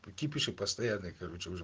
кипиш и постоянный короче уже